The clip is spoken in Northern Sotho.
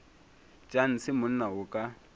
tša ntshe monna o ka